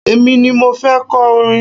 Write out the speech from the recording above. Èmi ni mo fẹ́ kọ orin.